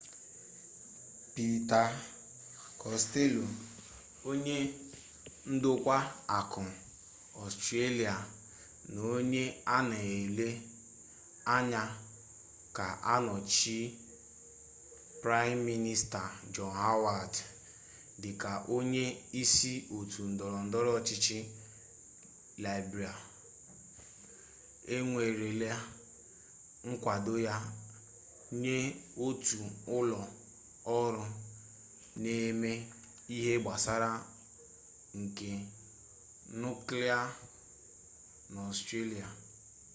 pita kostello onye ndokwa akụ ọstrelia na onye a na-ele anya ga-anọchi praịm minista jọn howard dịka onye isi otu ndọrọ ndọrọ ọchịchị libral ewerela nkwado ya nye otu ụlọ ọrụ na-eme ihe gbasara ike nuklia n'ọstrelia